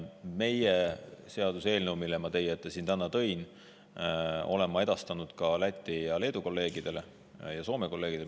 Meie seaduseelnõu, mille ma täna teie ette tõin, olen ma edastanud ka Läti ja Leedu kolleegidele, samuti Soome kolleegidele.